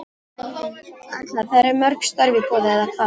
Erla: Það eru ekki mörg störf í boði eða hvað?